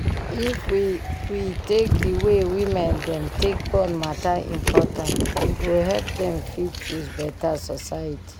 if we we take d way women dem take born matter important e go help dem fit choose beta society